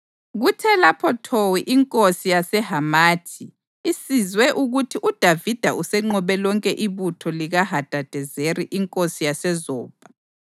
Kuthe lapho Towu inkosi yaseHamathi isizwe ukuthi uDavida usenqobe lonke ibutho likaHadadezeri inkosi yaseZobha,